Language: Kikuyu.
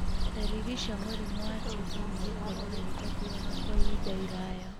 Dariri cia mũrimũ wa TB nĩ gĩkorora gĩtathiraga kwa ihinda iraya,